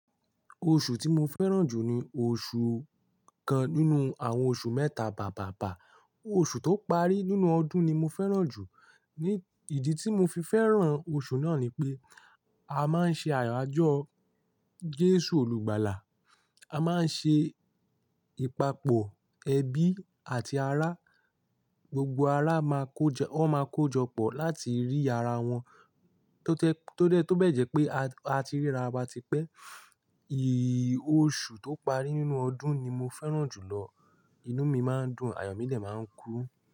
Oṣù tí mo fẹ́ràn jù ni oṣu kan nínú àwọn oṣù mẹ́ta bàbàbà. Oṣù tó parí nínú ọdún ni mo fẹ́ràn jù. Ni ìdí tí mo fi fẹ́ràn oṣù náà ni pé a máa ń ṣe àyájọ́ Jésù Olùgbàlà, a máa ń ṣe, ìpapọ̀ ẹbí àti ará, gbogbo ará máa kó jọ, wọn máa kó jọ pọ̀ láti rí ara wọn tó tẹ́, tó dẹ́ tó bẹ́ẹ̀ jẹ́ pé a ti ríra wa ti pẹ́. Oṣù tó parí nínú ọdún ni mo fẹ́ràn jù lọ. Inú mi máa ń dùn, àyo mí de máa ń kún.